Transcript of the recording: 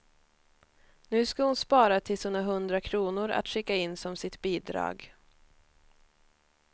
Nu ska hon spara tills hon har hundra kronor att skicka in som sitt bidrag.